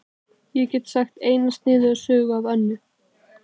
Ég get sagt eina sniðuga sögu af Önnu.